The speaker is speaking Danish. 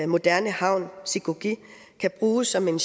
moderne havn sikuki kan bruges som en